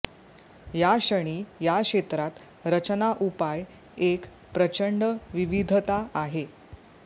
याक्षणी या क्षेत्रात रचना उपाय एक प्रचंड विविधता आहे